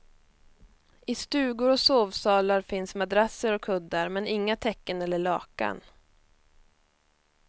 I stugor och sovsalar finns madrasser och kuddar, men inga täcken eller lakan.